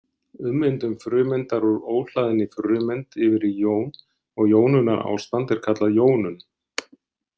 Ummyndun frumeindar úr óhlaðinni frumeind yfir í jón og jónunarástand er kallað „jónun“.